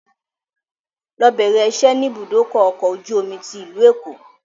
Lọ bẹ̀rẹ̀ ìṣẹ́ ni ibùdókọ̀ ọkọ̀ ojú omi tí ìlú Èkó!